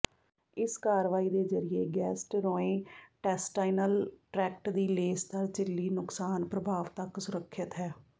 ਇਸ ਕਾਰਵਾਈ ਦੇ ਜ਼ਰੀਏ ਗੈਸਟਰ੍ੋਇੰਟੇਸਟਾਈਨਲ ਟ੍ਰੈਕਟ ਦੀ ਲੇਸਦਾਰ ਝਿੱਲੀ ਨੁਕਸਾਨ ਪ੍ਰਭਾਵ ਤੱਕ ਸੁਰੱਖਿਅਤ ਹੈ